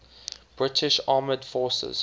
british armed forces